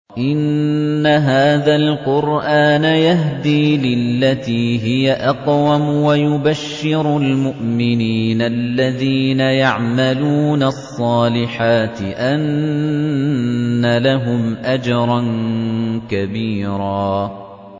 إِنَّ هَٰذَا الْقُرْآنَ يَهْدِي لِلَّتِي هِيَ أَقْوَمُ وَيُبَشِّرُ الْمُؤْمِنِينَ الَّذِينَ يَعْمَلُونَ الصَّالِحَاتِ أَنَّ لَهُمْ أَجْرًا كَبِيرًا